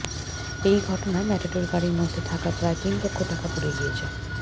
এই ঘটনায় ম্যাটাডোর গাড়ির মধ্যে থাকা প্রায় তিন লক্ষ টাকা পুড়ে গিয়েছে